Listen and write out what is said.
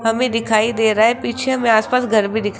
हमें दिखाई दे रहा है पीछे में आसपास घर भी दिख--